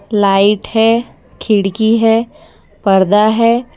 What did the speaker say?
Light है खिड़की है पर्दा है।